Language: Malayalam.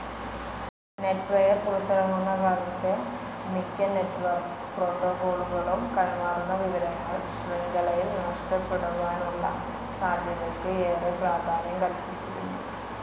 നെറ്റ്‌ വെയർ പുറത്തിറങ്ങുന്നകാലത്തെ മിക്ക നെറ്റ്‌ വർക്ക്‌ പ്രോട്ടോക്കോളുകളും, കൈമാറുന്ന വിവരങ്ങൾ, ശൃംഖലയിൽ നഷ്ടപ്പെടുവാനുള്ള സാധ്യതയ്ക്ക് ഏറെ പ്രാധാന്യം കൽപ്പിച്ചിരുന്നു.